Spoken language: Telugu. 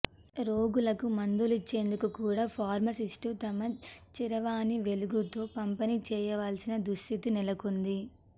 రోగులకు మందులిచ్చేందుకు కూడా ఫార్మసిస్టు తమ చరవాణి వెలుగుతో పంపిణీ చేయాల్సిన దుస్థితి నెలకొంది